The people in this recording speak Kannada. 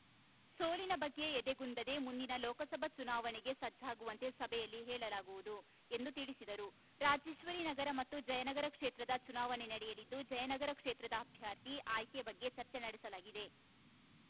ಸೋಲಿನ ಬಗ್ಗೆ ಎದೆಗುಂದದೆ ಮುಂದಿನ ಲೋಕಸಭಾ ಚುನಾವಣೆಗೆ ಸಜ್ಜಾಗುವಂತೆ ಸಭೆಯಲ್ಲಿ ಹೇಳಲಾಗುವುದು ಎಂದು ತಿಳಿಸಿದರು ರಾಜೇಶ್ವರಿ ನಗರ ಮತ್ತು ಜಯನಗರ ಕ್ಷೇತ್ರದ ಚುನಾವಣೆ ನಡೆಯಲಿದ್ದು ಜಯನಗರ ಕ್ಷೇತ್ರದ ಅಭ್ಯರ್ಥಿ ಆಯ್ಕೆ ಬಗ್ಗೆ ಚರ್ಚೆ ನಡೆಸಲಾಗಿದೆ